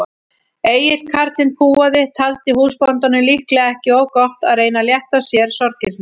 Egill karlinn púaði, taldi húsbóndanum líklega ekki of gott að reyna að létta sér sorgirnar.